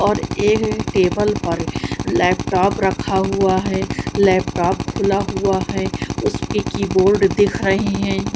और ये टेबल पर लैपटॉप रखा हुआ है लैपटॉप खुला हुआ है उसकी कीबोर्ड दिख रही हैं।